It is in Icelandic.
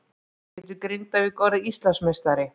Getur Grindavík orðið Íslandsmeistari?